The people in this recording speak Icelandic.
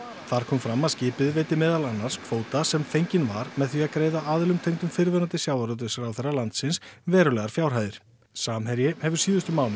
þar kom fram að skipið veiddi meðal annars fyrir kvóta sem fenginn var með því að greiða aðilum tengdum fyrrverandi sjávarútvegsráðherra landsins verulegar fjárhæðir samherji hefur síðustu mánuði